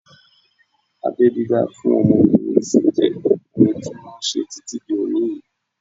Abẹ́ dídá fún ọmọkùnrin sí jẹ́ ohun tí wọ́n ṣe títí di òní yìí